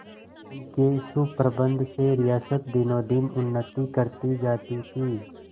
उनके सुप्रबंध से रियासत दिनोंदिन उन्नति करती जाती थी